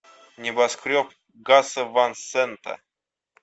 небоскреб гаса ван сента